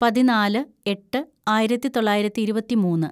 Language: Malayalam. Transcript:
പതിനാല് എട്ട് ആയിരത്തിതൊള്ളായിരത്തി ഇരുപത്തിമൂന്ന്‌